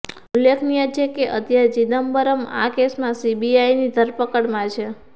ઉલ્લેખનીય છે કે અત્યારે ચિદમ્બરમ આ કેસમાં સીબીઆઈની ધરપકડમાં છે